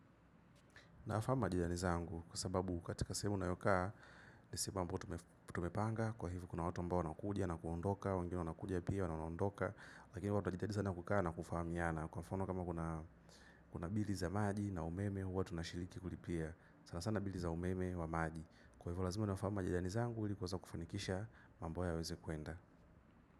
Nafahamu majirani zangu kwa sababu katika sehemu ninayokaa ni sehemu ambayo tumepanga kwa hivyo kuna watu ambao wanakuja na kuondoka wengine wanakuja pia na wanaondoka lakini huwa tunajitahidi sana kukaa na kufahamiana kwa mfano kama kuna bili za maji na umeme huwa tunashiriki kulipia sanasana bili za umeme wa maji kwa hivo lazima niwafahamu majirani zangu ili kuweza kufanikisha mambo yao yaweze kuenda.